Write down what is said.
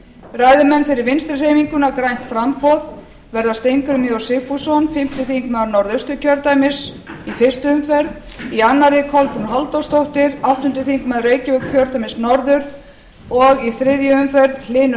ræðumenn fyrir vinstri hreyfinguna grænt framboð verða steingrímur j sigfússon fimmti þingmaður norðausturkjördæmis í fyrstu umferð í annarri kolbrún halldórsdóttir áttundi þingmaður reykjavíkurkjördæmis norður og í þriðju umferð hlynur